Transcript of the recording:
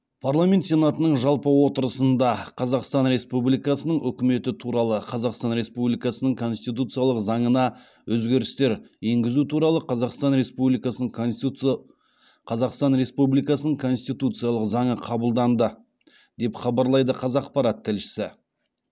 парламент сенатының жалпы отырысында қазақстан республикасының үкіметі туралы қазақстан республикасының конституциялық заңына өзгерістер еңгізу туралы қазақстан республикасының конституциялық заңы қабылданды деп хабарлайды қазақпарат тілшісі